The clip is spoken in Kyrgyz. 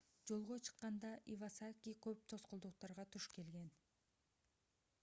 жолго чыкканда ивасаки көп тоскоолдуктарга туш келген